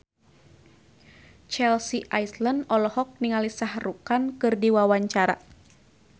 Chelsea Islan olohok ningali Shah Rukh Khan keur diwawancara